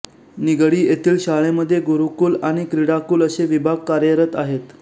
निगडी येथील शाळेमध्ये गुरुकुल आणि क्रीडाकुल असे विभाग कार्यरत आहेत